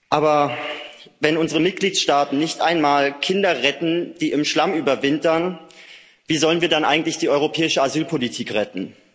Aber wenn unsere Mitgliedstaaten nicht einmal Kinder retten, die im Schlamm überwintern, wie sollen wir dann eigentlich die europäische Asylpolitik retten?